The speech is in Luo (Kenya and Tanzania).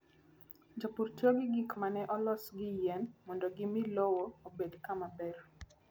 Jopur tiyo gi gik ma ne olos gi yien mondo gimi lowo obed kama ber.